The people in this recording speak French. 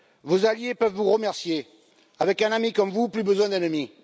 Vos alliés peuvent vous remercier avec un ami comme vous, plus besoin d'ennemis.